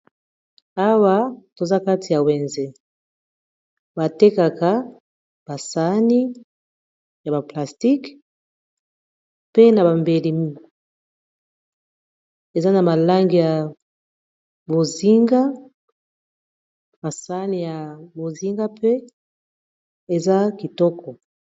awa toza kati ya wenze batekaka basani ya baplastice mpe na bambeli eza na malangi ya masani ya bozinga mpe eza kitoko